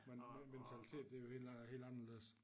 Den mentalitet det jo helt øh helt anderledes